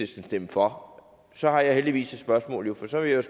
stemme for så har jeg jo heldigvis et spørgsmål for jeg